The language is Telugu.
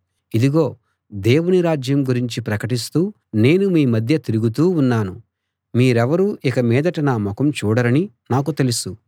ఇదిగో దేవుని రాజ్యం గురించి ప్రకటిస్తూ నేను మీ మధ్య తిరుగుతూ ఉన్నాను మీరెవరూ ఇక మీదట నా ముఖం చూడరని నాకు తెలుసు